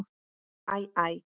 Æ, æ.